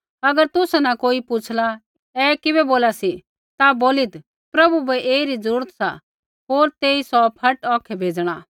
अगर तुसा न कोई पुछ़ला ऐ किबै बोला सी ता बोलीत् प्रभु बै ऐईरी जरूरत सा होर तेई सौ फट औखै भेजणा